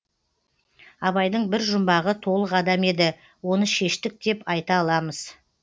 абайдың бір жұмбағы толық адам еді оны шештік деп айта аламыз